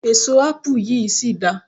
èso apu yìí sì da